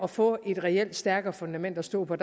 få et reelt stærkere fundament at stå på